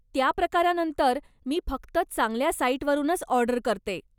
त्या प्रकारानंतर, मी फक्त चांगल्या साईटवरूनच ऑर्डर करते.